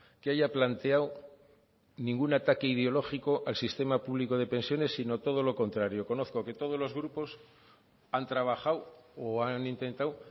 que haya planteado ningún ataque ideológico al sistema público de pensiones sino todo lo contrario conozco que todos los grupos han trabajado o han intentado